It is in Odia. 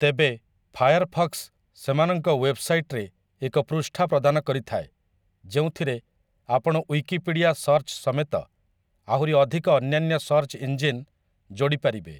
ତେବେ, ଫାୟାରଫକ୍ସ୍‌ ସେମାନଙ୍କ ୱେବସାଇଟ୍‌ରେ ଏକ ପୃଷ୍ଠା ପ୍ରଦାନ କରିଥାଏ, ଯେଉଁଥିରେ ଆପଣ ୱିକିପିଡ଼ିଆ ସର୍ଚ୍ଚ ସମେତ ଆହୁରି ଅଧିକ ଅନ୍ୟାନ୍ୟ ସର୍ଚ୍ଚ ଇଞ୍ଜିନ୍ ଯୋଡ଼ିପାରିବେ ।